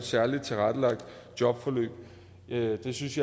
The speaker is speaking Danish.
særligt tilrettelagt jobforløb jeg synes